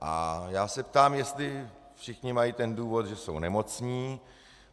A já se ptám, jestli všichni mají ten důvod, že jsou nemocní.